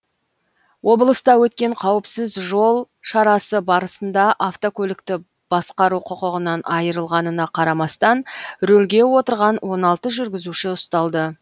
облыста өткен қауіпсіз жол шарасы барысында автокөлікті басқару құқығынан айырылғанына қарамастан рөлге отырған он алты жүргізуші ұсталды